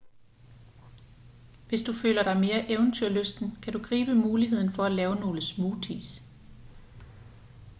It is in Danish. hvis du føler dig mere eventyrlysten kan du gribe muligheden for at lave nogle smoothies